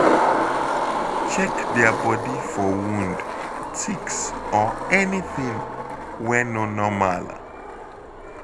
Check their body for wound, ticks or anything wey no normal.